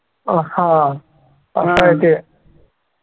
अं हा असं आहे ते